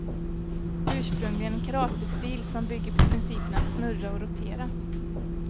Ursprungligen en karatestil, som bygger på principen att snurra och rotera.